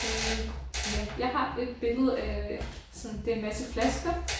Øh ja jeg har et billede af sådan det en masse flasker